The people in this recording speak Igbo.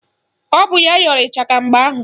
Ọ bụ ya yọrọ ịchaka mgbe ahụ